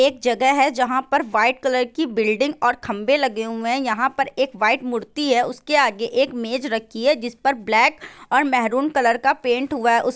एक जगह है जहां पर वाइट कलर की बिल्डिंग और खम्बे लगे हुए है यहाँ पर एक वाइट मूर्ति है उसके आगे एक मेज रखी है जिस पर ब्लैक और मैरून कलर का पेंट हुआ है उस --